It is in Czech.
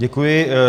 Děkuji.